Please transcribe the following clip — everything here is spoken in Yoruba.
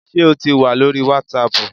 Sé o tì wà lórí wàsáàpù?